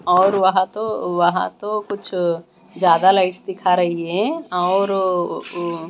और वहां तो वहां तो कुछ ज्यादा लाइटस् दिखा रही है और ओ--